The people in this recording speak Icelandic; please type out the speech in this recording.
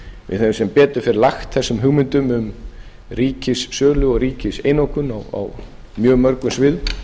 við höfum sem betur fer lagt þessum hugmyndum um ríkissölu og ríkiseinokun á mjög mörgum sviðum